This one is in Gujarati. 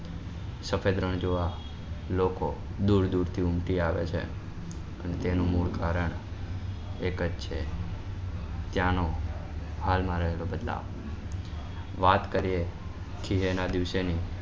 સફેદ રણ જોવા લોકો દુર દુર થી ઉમટી આવે છે અને તેનું મૂળ કારણ એક જ છે ત્યાં નો હાલ માં રહેલો બદલાવ વાત કરીએ કીએ ના દિવસે ની